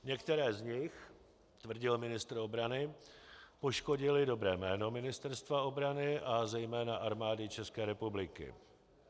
Některé z nich, tvrdil ministr obrany, poškodily dobré jméno Ministerstva obrany a zejména Armády České republiky.